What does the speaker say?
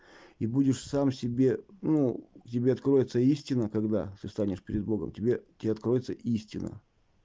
и будешь сам себе ну тебе откроется истина когда ты станешь перед богом тебе те откроется истина